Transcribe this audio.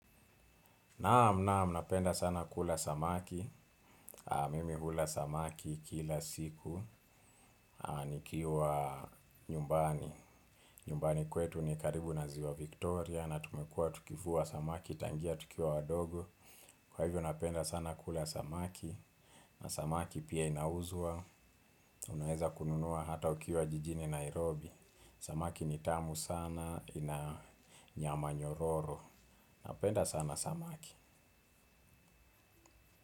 Naam naam napenda sana kula samaki. Mimi hula samaki kila siku. Nikiwa nyumbani nyumbani kwetu ni karibu na ziwa Victoria. Na tumekua tukivua samaki tangia tukiwa wadogo. Kwa hivyo napenda sana kula samaki. Na samaki pia inauzwa. Unaweza kununua hata ukiwa jijini Nairobi. Samaki ni tamu sana ina nyama nyororo. Napenda sana samaki.